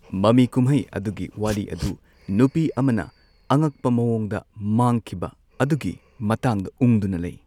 ꯃꯃꯤ ꯀꯨꯝꯍꯩ ꯑꯗꯨꯒꯤ ꯋꯥꯔꯤ ꯑꯗꯨ ꯅꯨꯄꯤ ꯑꯃꯅ ꯑꯉꯛꯄ ꯃꯑꯣꯡꯗ ꯃꯥꯡꯈꯤꯕ ꯑꯗꯨꯒꯤ ꯃꯇꯥꯡꯗ ꯎꯪꯗꯨꯅ ꯂꯩ꯫